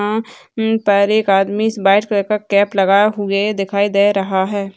हां उम्म पर एक आदमी व्हाइट कलर का केप लगाए हुए दिखाई दे रहा है।